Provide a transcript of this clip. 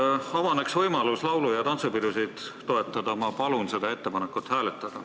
Et avaneks võimalus laulu- ja tantsupidusid toetada, ma palun seda ettepanekut hääletada.